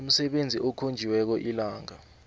umsebenzi okhonjiweko ilanga